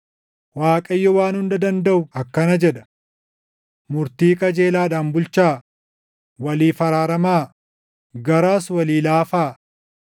“ Waaqayyo Waan Hunda Dandaʼu akkana jedha: ‘Murtii qajeelaadhaan bulchaa; waliif araaramaa; garaas walii laafaa.